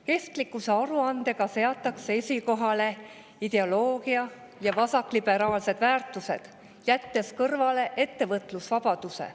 Kestlikkusaruandega seatakse esikohale ideoloogia ja vasakliberaalsed väärtused, jättes kõrvale ettevõtlusvabaduse.